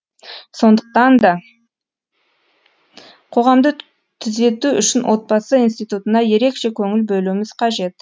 сондықтан да қоғамды түзету үшін отбасы иниститутына ерекше көңіл бөлуіміз қажет